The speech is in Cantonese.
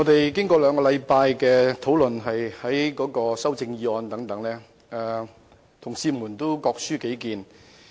主席，兩星期以來，我們已就修正案展開辯論，同事各抒己見。